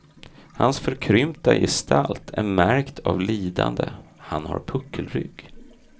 Hans förkrympta gestalt är märkt av lidande, han har puckelrygg.